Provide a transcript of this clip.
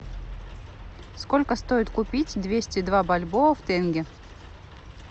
сколько стоит купить двести два бальбоа в тенге